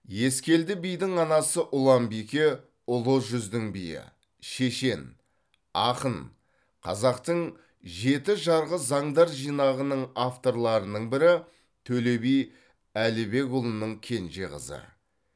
ескелді бидің анасы ұланбике ұлы жүздің биі шешен ақын қазақтың жеті жарғы заңдар жинағының авторларының бірі төле би әлібекұлының кенже қызы